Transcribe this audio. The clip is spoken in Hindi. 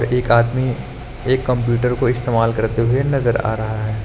एक आदमी एक कंप्यूटर को इस्तेमाल करते हुए नजर आ रहा है।